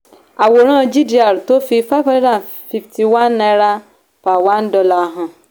àwòrán gdr tó fi five hundred and fifty one dollar per one dollar hàn